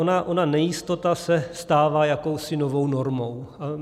Ona nejistota se stává jakousi novou normou.